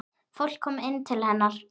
Fólk kom til hennar.